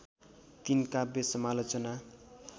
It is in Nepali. तीन काव्य समालोचना